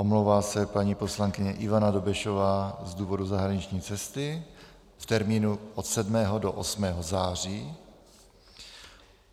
Omlouvá se paní poslankyně Ivana Dobešová z důvodu zahraniční cesty v termínu od 7. do 8. září.